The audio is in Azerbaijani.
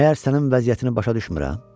Məgər sənin vəziyyətini başa düşmürəm?